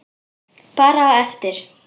Bara á eftir.